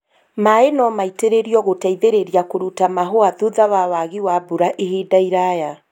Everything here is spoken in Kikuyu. Maĩ no maitĩrĩrio gũteithĩrĩria kũruta mahũa thutha wa wagi wa mbura ihinda iraya